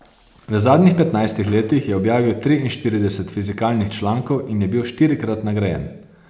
V zadnjih petnajstih letih je objavil triinštirideset fizikalnih člankov in je bil štirikrat nagrajen.